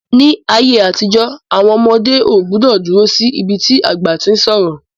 Ní ayé àtijó, àwọn ọmọdé ọ gbúdọ̀ dúró sí ibi tí àgbà tí ń sọ̀rọ̀